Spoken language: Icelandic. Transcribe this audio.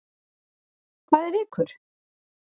Hvað er vikur?